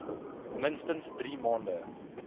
minstens drie maande